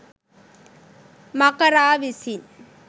මකරා විසින්